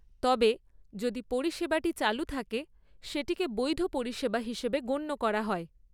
তবে, যদি পরিষেবাটি চালু থাকে, সেটিকে বৈধ পরিষেবা হিসেবে গণ্য করা হয়।